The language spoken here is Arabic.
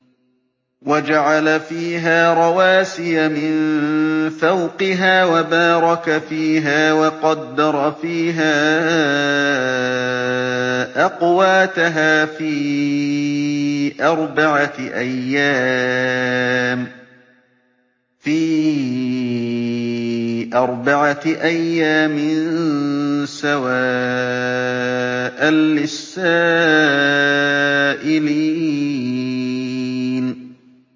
وَجَعَلَ فِيهَا رَوَاسِيَ مِن فَوْقِهَا وَبَارَكَ فِيهَا وَقَدَّرَ فِيهَا أَقْوَاتَهَا فِي أَرْبَعَةِ أَيَّامٍ سَوَاءً لِّلسَّائِلِينَ